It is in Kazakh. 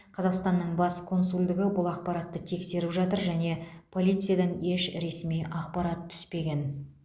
қазақстанның бас консулдығы бұл ақпаратты тексеріп жатыр және полициядан еш ресми ақпарат түспеген